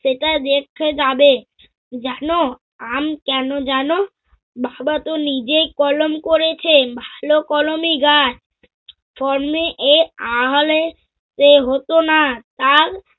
সেটা দেখতে যাবে। জানো, আম কেন জানো? বাবা তো নিজেই কলম করেছে ভালো কলমই গাছ। এ হত না তাই